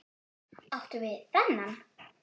Áttu við þennan?